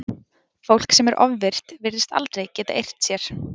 Fólk sem er ofvirkt virðist aldrei geta eirt sér.